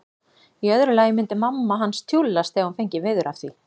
Í öðru lagi myndi mamma hans tjúllast ef hún fengi veður af því.